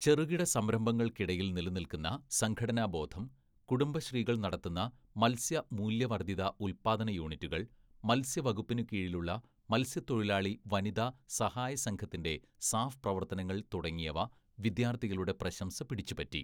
ചെറുകിടസംരംഭങ്ങൾക്കിടയിൽ നിലനിൽക്കുന്ന സംഘാടനബോധം, കുടുംബശ്രീകൾ നടത്തുന്ന മത്സ്യമൂല്യവർധിത ഉൽപാദന യൂണിറ്റുകൾ, മത്സ്യവകുപ്പിന് കീഴിലുള്ള മത്സ്യത്തൊഴിലാളി വനിതാ സഹായ സംഘത്തിന്റെ സാഫ് പ്രവർത്തനങ്ങൾ തുടങ്ങിയവ വിദ്യാർത്ഥികളുടെ പ്രശംസ പിടിച്ചുപറ്റി.